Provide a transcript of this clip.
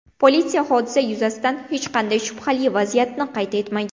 Politsiya hodisa yuzasidan hech qanday shubhali vaziyatni qayd etmagan.